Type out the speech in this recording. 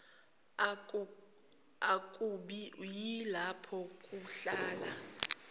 akubi yilapho kuhlala